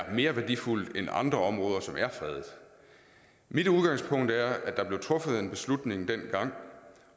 er mere værdifuldt end andre områder som er fredet mit udgangspunkt er at der blev truffet en beslutning dengang